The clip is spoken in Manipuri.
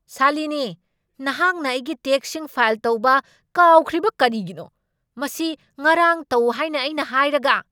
ꯁꯥꯂꯤꯅꯤ, ꯅꯍꯥꯛꯅ ꯑꯩꯒꯤ ꯇꯦꯛꯁꯁꯤꯡ ꯐꯥꯏꯜ ꯇꯧꯕ ꯀꯥꯎꯈ꯭ꯔꯤꯕ ꯀꯔꯤꯒꯤꯅꯣ? ꯃꯁꯤ ꯉꯔꯥꯡ ꯇꯧ ꯍꯥꯏꯅ ꯑꯩꯅ ꯍꯥꯏꯔꯒ꯫